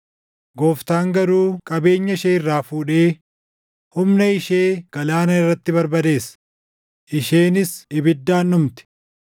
Gooftaan garuu qabeenya ishee irraa fuudhee humna ishee galaana irratti barbadeessa; isheenis ibiddaan dhumti.